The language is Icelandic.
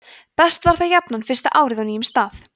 best var það jafnan fyrsta árið á nýjum stað